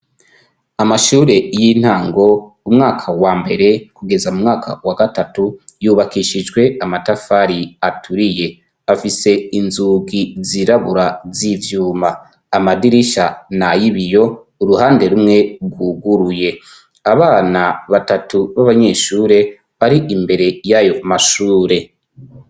Amashure y'intango umwaka wa mbere kugeza mu mwaka wa gatatu yubakishijwe amatafari aturiye, afise inzugi zirabura z'ivyuma, amadirisha na y'ibiyo uruhande rumwe gwuguruye, abana batatu b'abanyeshure bari imbere y'ayo mashure.